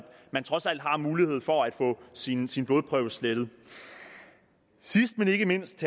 man trods alt har mulighed for at få sin sin blodprøve slettet sidst men ikke mindst